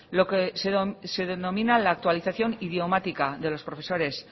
lo que se denomina la actualización idiomática de los profesores